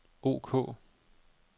ok